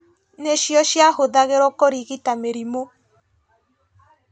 Nĩcio ciahũthagĩrwo kũrigita mĩrimũ